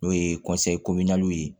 N'o ye ye